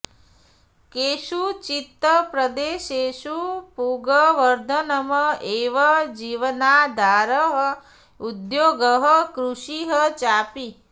केषुचित् प्रदेशेषु पूगवर्धनम् एव जीवनाधारः उद्योगः कृषिः चापि